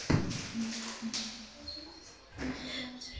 Loks gafst hann upp á því að leika skemmtikraft.